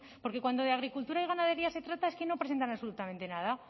porque cuando de agricultura y ganadería se trata es que no presentan absolutamente nada